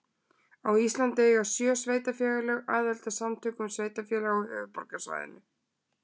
Á Íslandi eiga sjö sveitarfélög aðild að Samtökum sveitarfélaga á höfuðborgarsvæðinu.